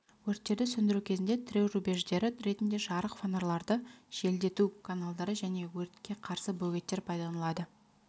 өрттерді сөндіру кезінде тіреу рубеждері ретінде жарық фонарларды желдету каналдары және өртке қарсы бөгеттер пайдаланылады